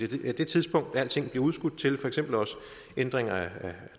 er det tidspunkt alting bliver udskudt til for eksempel også ændringer på